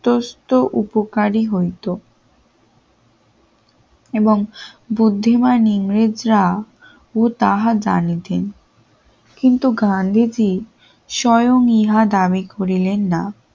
তোর তো উপকারী হইত এবং বুদ্ধিমান ইংরেজরা ও তাহা জানিতেন কিন্তু গান্ধীজী স্বয়ং ইহা দাবি করিলেন না।